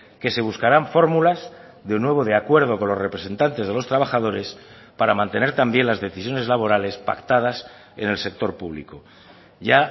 que se buscarán fórmulas de un nuevo de acuerdo con los representantes de los trabajadores para mantener también las decisiones laborales pactadas en el sector público ya